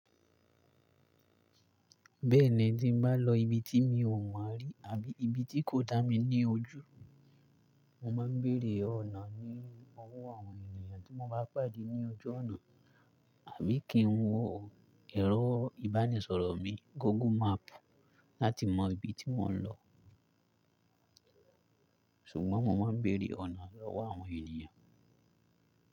Bẹ́ẹ̀ni, tí n bá lọ ibi tí mi ò mọ̀ rí àbí ibi tí kòdá mi ní ojú, mo máa ń béèrè ọ̀nà ní owó àwọn ènìyàn tí mo bá pàdé ní ojú ọ̀nà, àbí kí n wo ẹ̀rọ ìbánisọ̀rọ̀ mi, Google map láti mọ ibi tí mò ń lọ. Ṣùgbọ́n mo máa ń béèrè ọ̀nà lọ́wọ́ àwọn ènìyàn.